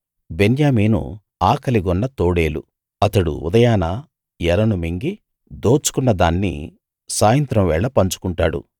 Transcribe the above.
బెన్యామీను ఆకలిగొన్న తోడేలు అతడు ఉదయాన ఎరను మింగి దోచుకున్న దాన్ని సాయంత్రం వేళ పంచుకుంటాడు